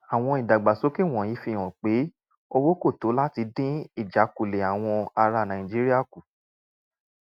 àwọn ìdàgbàsókè wọ̀nyí fi hàn pé owó kò tó láti dín ìjákulẹ̀ àwọn ará nàìjíríà kù